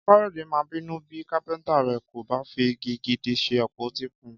Káyọ̀dé máa bínú bí kápẹ́ntà rẹ̀ kò bá fi igi gidi ṣe àpótí fún un